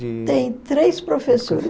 Tem três professoras.